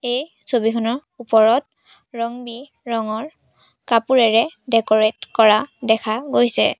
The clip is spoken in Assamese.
এই ছবিখনৰ ওপৰত ৰং-বিৰঙ কাপোৰেৰে ডেকৰেট কৰা দেখা গৈছে।